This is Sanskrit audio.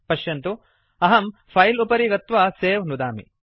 पश्यतु अहं फिले उपरि गत्वा सवे नुदामि